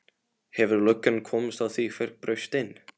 Hefur löggan komist að því hver braust inn?